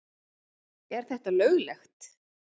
Er þetta löglegt?